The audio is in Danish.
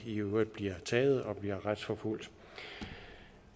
i øvrigt bliver taget og bliver retsforfulgt